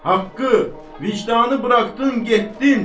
Haqqı, vicdanı buraxdın getdin.